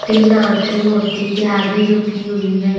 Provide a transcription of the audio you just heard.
तीन औरतें मूर्ति के आगे झुकी हुई हैं।